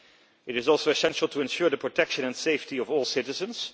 It is also essential to ensure the protection and safety of all citizens.